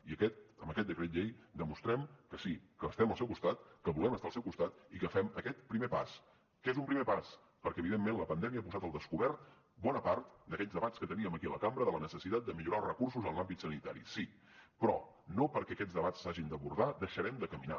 i amb aquest decret llei demostrem que sí que estem al seu costat que volem estar al seu costat i que fem aquest primer pas que és un primer pas perquè evidentment la pandèmia ha posat al descobert bona part d’aquells debats que teníem aquí a la cambra de la necessitat de millorar els recursos en l’àmbit sanitari sí però no perquè aquests debats s’hagin d’abordar deixarem de caminar